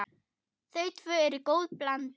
Þau tvö eru góð blanda.